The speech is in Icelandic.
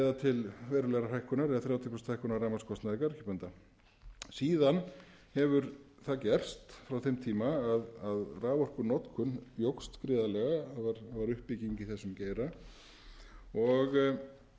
til þrjátíu prósenta hækkunar á rafmagnskostnaði garðyrkjubænda síðan hefur það gerst frá þeim tíma að raforkunotkun jókst gríðarlega var uppbygging í þessum geira